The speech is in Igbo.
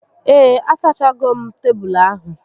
Ee, a sachago m tebulu ahu